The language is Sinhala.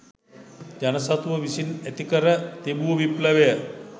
ජන සතුව විසින් ඇති කර තිබූ විප්ලවය